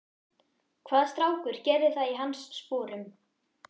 Hvaða strákur gerði það í hans sporum?